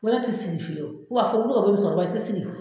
Ko ne tɛ sigi fiyewu ko k'a fɔ muso kɔrɔba i tɛ sigi